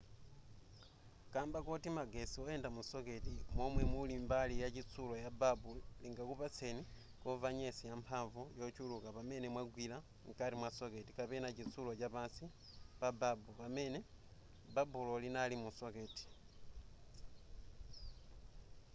kamba koti magetsi oyenda mu socket momwe muli mbali ya chitsulo ya babu lingakupangitseni kumva nyesi yamphamvu yochuluka pamene mwagwira mkati mwa socket kapena chitsulo chapansi pa babu pamene babulo linali mu socket